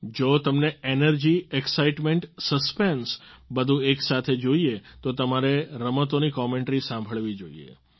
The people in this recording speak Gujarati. જો તમને એનર્જી એક્સાઈટમેન્ટ સસ્પેન્સ બધું એકસાથે જોઈએ તો તમારે રમતોની કોમેન્ટરી સાંભળવી જોઈએ